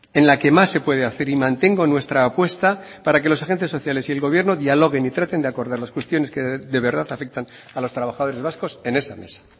en la que más se puede hacer y mantengo nuestra apuesta para que los agentes sociales y el gobierno dialoguen y traten de acordar las cuestiones que de verdad afectan a los trabajadores vascos en esa mesa